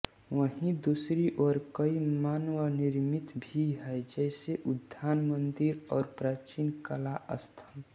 वहीँ दूसरी ओर कई मानवनिर्मित भी हैं जैसे उद्यान मंदिर और प्राचीन कला स्थल